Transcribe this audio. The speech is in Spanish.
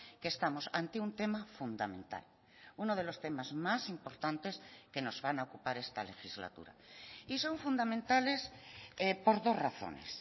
que estamos ante un tema fundamental uno de los temas más importantes que nos van a ocupar esta legislatura y son fundamentales por dos razones